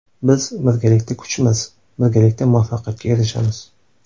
Biz birgalikda kuchmiz, birgalikda muvaffaqiyatga erishamiz!